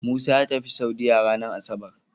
Musa yatafi saudiya ranar asabar